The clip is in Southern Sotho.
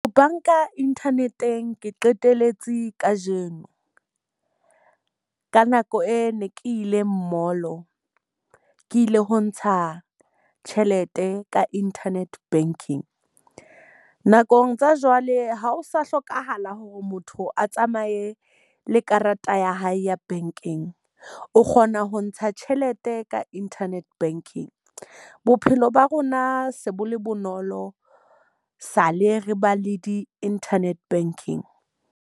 Banka internet-eng ke qeteletse ka jeno. Ka nako e ne ke ile Mall-o ke ile ho ntsha tjhelete ka internet banking. Nakong tsa jwale ha o sa hlokahala hore motho a tsamaye le karata ya hae ya bankeng. O kgona ho ntsha tjhelete ka internet banking. Bophelo ba rona se bo le bonolo sa le re ba le di-internet banking.